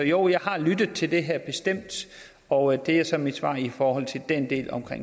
jo jeg har lyttet til det her bestemt og det er så mit svar i forhold til den del om